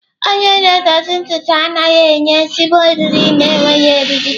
Onye na-edozi ntutu anaghị enye ezigbo eriri na-enweghị eriri.